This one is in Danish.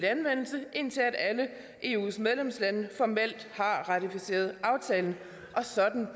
anvendelse indtil alle eus medlemslande formelt har ratificeret aftalen og sådan